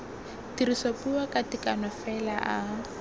tirisopuo ka tekano fela a